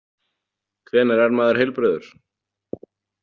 Hvenær er maður heilbrigður?